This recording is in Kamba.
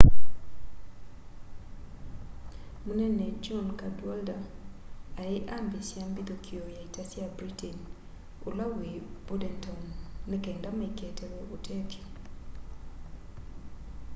munene john cadwalder ai ambiisya mbithũkio ya ita sya britain ula wi bordentown ni kenda maikaetewe ũtethyo